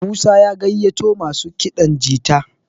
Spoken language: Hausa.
Musa ya gaiyato masu kiɗan jita